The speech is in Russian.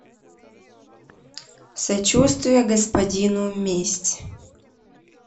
сочувствие господину месть